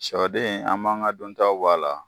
Siyɔ den an b'an ka duntaw bɔ' la.